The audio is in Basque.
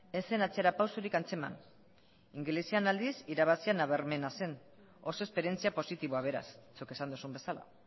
ez zen atzerapausorik antzeman ingelesean aldiz irabazia nabarmena zen oso esperientzia positiboa beraz zuk esan duzun bezala